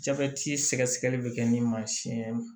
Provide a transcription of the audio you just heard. Jabɛti sɛgɛsɛgɛli bɛ kɛ ni mansin ye